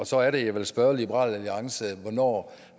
så er det jeg vil spørge liberal alliance hvornår